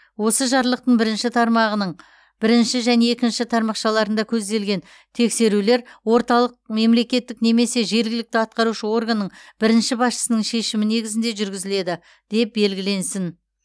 осы жарлықтың бірінші тармағының бірінші және екінші тармақшаларында көзделген тексерулер орталық мемлекеттік немесе жергілікті атқарушы органның бірінші басшысының шешімі негізінде жүргізіледі деп белгіленсін